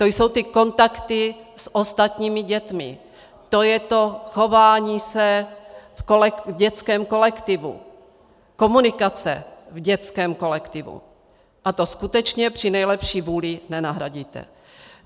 To jsou ty kontakty s ostatními dětmi a to je to chování se v dětském kolektivu, komunikace v dětském kolektivu, to skutečně při nejlepší vůli nenahradíte.